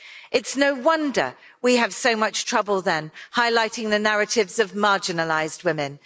It's no wonder we have so much trouble, then, highlighting the narratives of marginalised women.